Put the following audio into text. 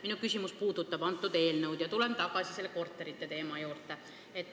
Minu küsimus puudutab seda eelnõu, tulen tagasi korterite teema juurde.